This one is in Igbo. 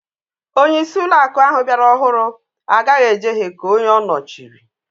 Onyeisi uloaku ahu biara ọhụrụ agaghi ejehe ka onye ọ nọchịrị